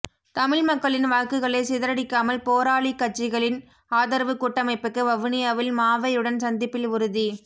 தமிழ் மக்களின் வாக்குகளைச் சிதறடிக்காமல் போராளி கட்சிகளின் ஆதரவு கூட்டமைப்புக்கு வவுனியாவில் மாவையுடன் சந்திப்பில் உறுதி